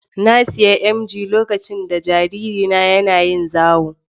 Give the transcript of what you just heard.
Na sayi emgyi lokacin da jaririna ya na yin zawo